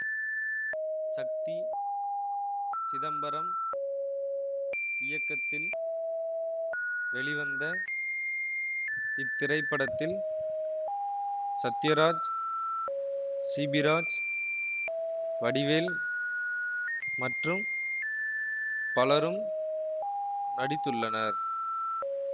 சக்தி சிதம்பரம் இயக்கத்தில் வெளிவந்த இத்திரைப்படத்தில் சத்யராஜ் சிபிராஜ் வடிவேல் மற்றும் பலரும் நடித்துள்ளனர்